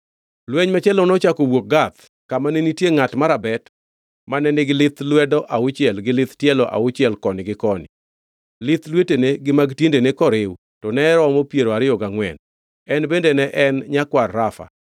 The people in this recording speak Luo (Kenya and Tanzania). Lweny machielo nochako owuok Gath, kama ne nitie ngʼat marabet mane nigi lith lwedo auchiel gi lith tielo auchiel koni gi koni, lith lwetene gi mag tiendene koriw to ne romo piero ariyo gangʼwen. En bende ne en nyakwar Rafa.